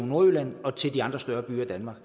nordjylland og til de andre større byer i danmark